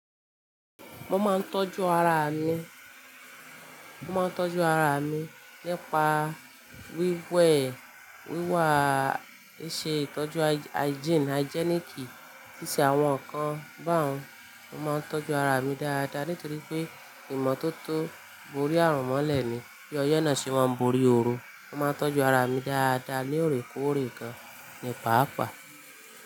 Mo máa ń tọ́jú ara mi, mo máa ń tọ́jú ara mi nípa wíwẹ̀, wíwá, ì ṣe ìtọ́jú hygiene, hygienic, ṣíṣe àwọn nǹkan bá un. Mo máa ń tọ́jú ara mi dáadáa nítorí pé ìmọ́tótó borí àrùn mọ́lẹ̀ ni. Bí ọ̀ye náà ṣe máa ń borí orun, mo máa ń tọ́jú ara mi dáadáa ní òrékọ́ọ̀rẹ́ gan nípapá.